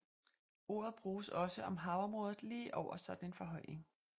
Ordet bruges også om havområdet lige over sådan en forhøjning